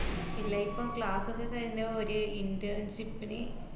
ഇല്ല ഇപ്പം class ഒക്കെ കഴ്ഞ്ഞു ഒരു internship ന്